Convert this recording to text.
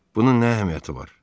bunun nə əhəmiyyəti var?